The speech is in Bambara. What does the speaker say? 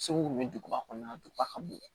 Segu ni duguba kɔnɔna duguba ka bon